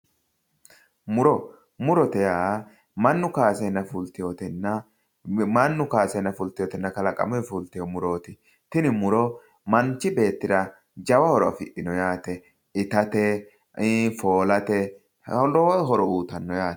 muro murote yaa mannu kaaseenna fulteyootenna kalaqamuyi fulteyoote tini muro manchi beettira jawa horo afidhino yaate itate foolate lowo horo uyiitanno yaate